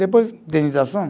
Depois, indenização.